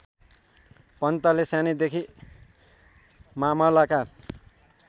पन्तले सानैदेखि मामलका